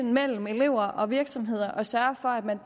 mellem elever og virksomheder og sørge for at man